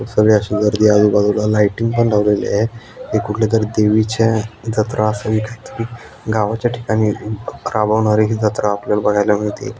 सगळी अशी गर्दी आजुबाजुला लाइटींग पण लावलेली आहे. हे कुठल्यातरी देवीची अ जत्रा असावी कायतरी गावाच्या ठिकाणी अ ग राभवणारी ही जत्रा आपल्याला बगायला मिळतेय.